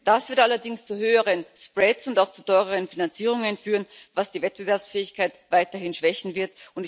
Das wird allerdings zu höheren Spreads und auch zu teureren Finanzierungen führen, was die Wettbewerbsfähigkeit weiterhin schwächen wird.